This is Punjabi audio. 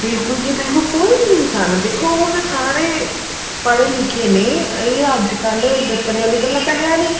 ਬਿਲਕੁਲ ਜੀ ਬਿਲਕੁਲ ਕੋਈ ਵੀ ਇਨਸਾਨ ਹੈ ਦੇਖੋ ਹੁਣ ਸਾਰੇ ਪੜ੍ਹੇ ਲਿਖੇ ਨੇ ਇਹ ਅੱਜਕਲ ਦੱਸਣ ਆਲੀਆਂ ਗੱਲਾਂ ਤਾਂ ਹੈ ਨੀ